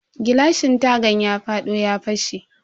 Gilashin tagan ya fado ya fashe.